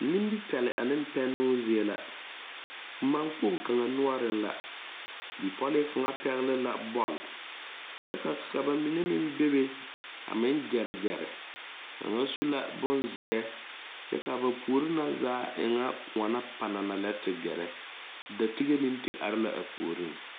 Nimipɛle ane pɛnnoo zie la mankpoŋ kaŋa noɔreŋ la bipɔlee kaŋ pɛgle la bɔle kyɛ ka ba mine meŋ bebe a meŋ gyɛre gyɛre kaŋa su la bonzeɛ kyɛ ka ba puori na zaa e ŋa koɔ la panana lɛ te gɛrɛ datige meŋ te are la a puoriŋ.